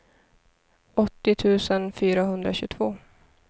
åttio tusen fyrahundratjugotvå